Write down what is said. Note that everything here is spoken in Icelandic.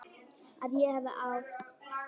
Að ég hafi átt.?